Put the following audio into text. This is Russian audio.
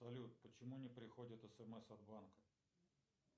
салют почему не приходят смс от банка